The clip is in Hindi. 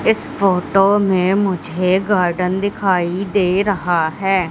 इस फोटो में मुझे गार्डन दिखाई दे रहा है।